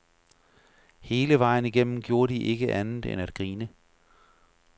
Hele vejen igennem gjorde de ikke andet end at grine.